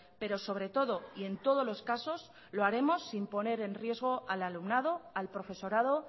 pero sobre todo y en todos los casos lo haremos sin poner en riesgo al alumnado al profesorado